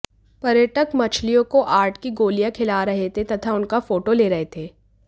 पर्यटक मछलियों को आटे की गोलियां खिला रहे थे तथा उनका फोटो ले रहे थे